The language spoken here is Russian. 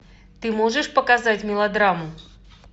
ты можешь показать мелодраму